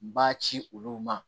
B'a ci olu ma